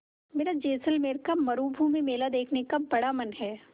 मेरा जैसलमेर का मरूभूमि मेला देखने का बड़ा मन है